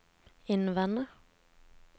innvende